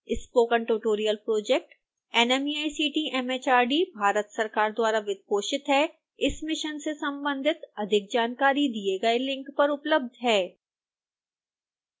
spoken tutorial project nmeict mhrd Bharat सरकार द्वारा वित्तपोषित है इस मिशन से संबंधित अधिक जानकारी दिए गए लिंक पर उपलब्ध है